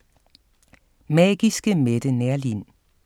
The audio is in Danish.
Magiske Mette Neerlin